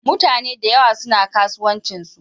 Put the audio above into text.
Mutaneda yawa suna kasuwancinsu.